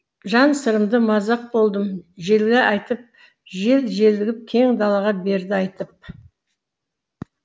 жан сырымды мазақ болдым желге айтып жел желігіп кең далаға берді айтып